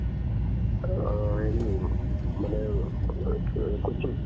আ হেৰি মানে